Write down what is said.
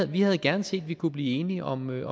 vi havde gerne set at vi kunne blive enige om nogle